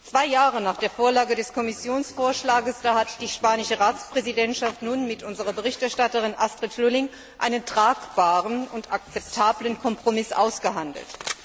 Zwei Jahre nach der Vorlage des Kommissionsvorschlags hat die spanische Ratspräsidentschaft nun mit unserer Berichterstatterin, Astrid Lulling, einen tragbaren und akzeptablen Kompromiss ausgehandelt.